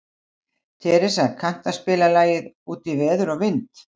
Teresa, kanntu að spila lagið „Út í veður og vind“?